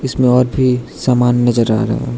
इसमें और भी सामान नजर आ रहा हैं।